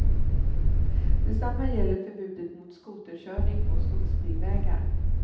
Detsamma gäller förbudet mot skoterkörning på skogsbilvägar.